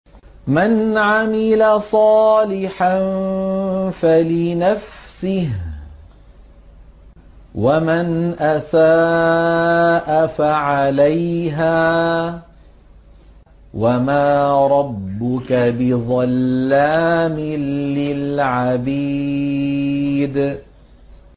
مَّنْ عَمِلَ صَالِحًا فَلِنَفْسِهِ ۖ وَمَنْ أَسَاءَ فَعَلَيْهَا ۗ وَمَا رَبُّكَ بِظَلَّامٍ لِّلْعَبِيدِ